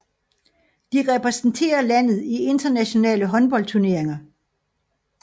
De repræsenterer landet i internationale håndboldturneringer